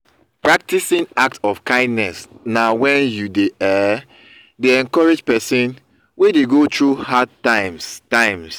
practicing act of kindness na when you um de encourage persin wey de go through hard times times